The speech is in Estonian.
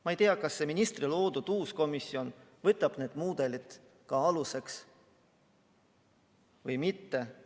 Ma ei tea, kas ministri loodud uus komisjon võtab ka need mudelid aluseks või mitte.